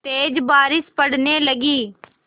तेज़ बारिश पड़ने लगी